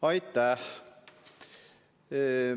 Aitäh!